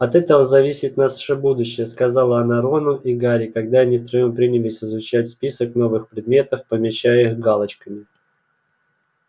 от этого зависит наше будущее сказала она рону и гарри когда они втроём принялись изучать список новых предметов помечая их галочками